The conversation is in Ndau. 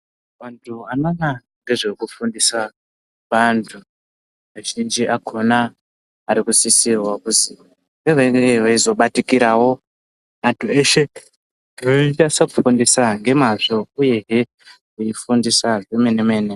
Vantu vanoona nezvekufundisa vantu azhinji akona ari kusisirwaa kuzi venge veizobatikiravo antu eshe, veinyatsofundisa ngemazvoo uyezvee veifundisaa zvemene mene.